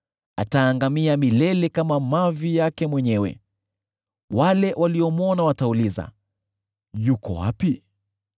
ataangamia milele kama mavi yake mwenyewe. Wale waliomwona watauliza, ‘Yuko wapi?’